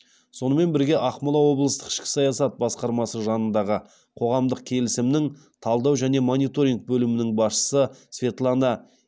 сонымен бірге ақмола облыстық ішкі саясат басқармасы жанындағы қоғамдық келісімнің талдау және мониторинг бөлімінің басшысы светлана